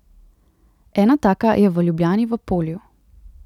Ena taka je v Ljubljani v Polju.